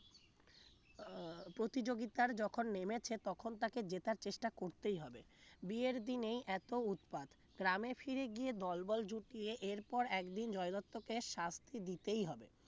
আহ প্রতিযোগিতার যখন নেমেছে তখন তাকে জেতার চেষ্টা করতেই হবে বিয়ের দিনেই এত উৎপাত গ্রামে ফিরে গিয়ে দলবল জুটিয়ে এরপর একদিন জয় দত্তকে শাস্তি দিতেই হবে